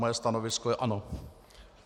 Moje stanovisko je ano.